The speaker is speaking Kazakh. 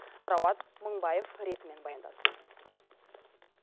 рауан мыңбаев ретімен баяндасын